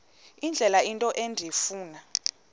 indlela into endifuna